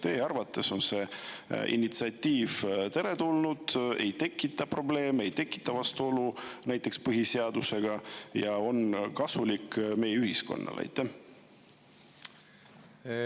Kas teie arvates on see initsiatiiv teretulnud, ei tekita probleeme, ei tekita vastuolu näiteks põhiseadusega ja on kasulik meie ühiskonnale?